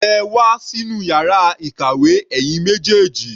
Ẹ wá sínú yàrá ìkàwé, ẹ̀yin méjèèjì.